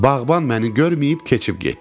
Bağban məni görməyib keçib getdi.